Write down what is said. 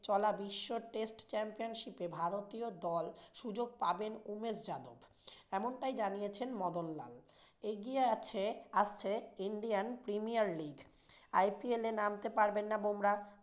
চলা বিশ্ব test championship ভারতীয় দল সুযুগ পাবেন উমেশ যাদব এমনটাই জানিয়েছেন মদনলাল। এগিয়ে আছে~ আসছে ইন্ডিয়ান premier league IPL নামতে পারবেন না বুমরাহ।